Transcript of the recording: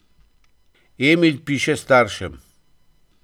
Emil piše staršem.